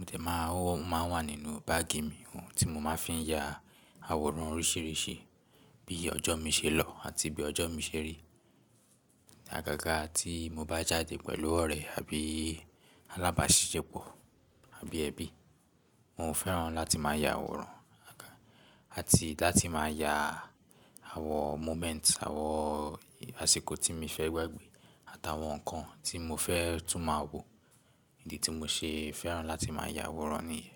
O de máa ń wà nínú báàgì mi, ohun tí mo máa ń fi ya àwòrán oríṣíríṣì bí ọjọ́ mi ṣe lọ àti bí ọjọ́ mi ṣe rí. Àgágá tí mo bá jáde pẹ̀lú ọ̀rẹ́ àbí alábáṣepọ̀ àbí ẹbí, mo fẹ́ràn láti máa ya àwòrán àti láti máa ya àwọn moment, àwọn àsìkò tí mi fẹ́ gbé àtàwọn ǹkan tí mo fẹ́ tún máa wò. Idi tí mo ṣe fẹ́ràn láti máa ya àwòrán nìyẹn.